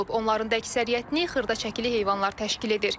Onların da əksəriyyətini xırdaçəkili heyvanlar təşkil edir.